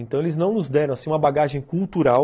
Então eles não nos deram assim uma bagagem cultural.